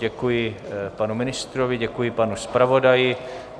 Děkuji panu ministrovi, děkuji panu zpravodaji.